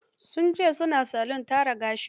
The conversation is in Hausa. Sun ce sun daina salon tara gashi.